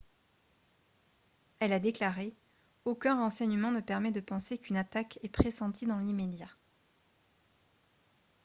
elle a déclaré :« aucun renseignement ne permet de penser qu'une attaque est pressentie dans l’immédiat »